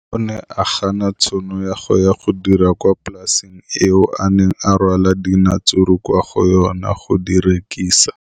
O ne a gana tšhono ya go dira kwa polaseng eo a neng rwala diratsuru kwa go yona go di rekisa.